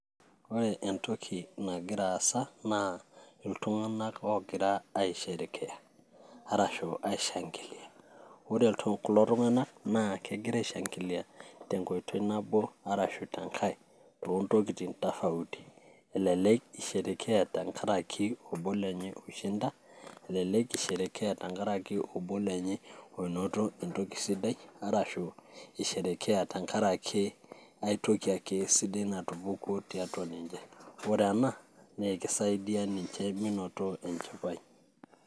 Ore entoki nagira aasa naa iltung'anak ogira aisherekea arashu aishangilia ore kulo tung'anak naa kegira aishangilia tenkoitoi nabo arashu tenkae toontokitin tofauti elelek isherekea tenkarake obo lenye oishinda elelek isherekea tenkarake obo lenye onoto entoki sidai arashu isherekea tenkaraki aetoki ake sidai natupukuo tiatua ninche ore ena naa ekisaidia ninche menoto enchipai.